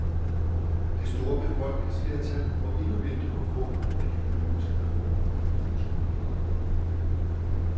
Det store befolkningsflertal må endnu vente på frugten af de økonomiske reformer. punktum